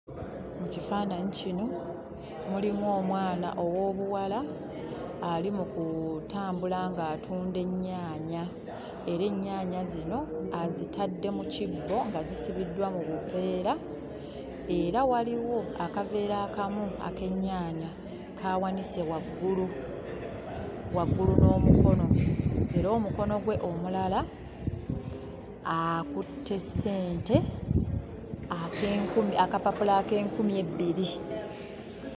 Mu kifaananyi kino mulimu omwana ow'obuwala ali mu kutambula ng'atunda ennyaanya era ennyaanya zino azitadde mu kibbo nga zisibiddwa mu buveera era waliwo akaveera akamu ak'ennyaanya k'awanise waggulu; waggulu n'omukono. Era omukono gwe omulala akutte ssente ak'enkumi akapapula ak'enkumi ebbiri.